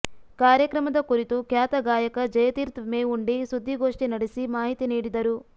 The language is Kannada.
ಕಾರ್ಯಕ್ರಮದ ಕುರಿತು ಖ್ಯಾತ ಗಾಯಕ ಜಯತೀರ್ಥ ಮೇವುಂಡಿ ಸುದ್ದಿಗೋಷ್ಟಿ ನಡೆಸಿ ಮಾಹಿತಿ ನೀಡಿದರು